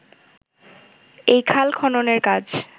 এই খাল খননের কাজ